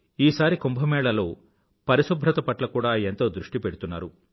ఈసారి కుంభ మేళాలో పరిశుభ్రత పట్ల కూడా ఎంతో దృష్టి పెడుతున్నారు